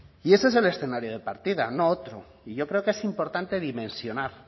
y ese es el escenario de partida no otro y yo creo que es importante dimensionar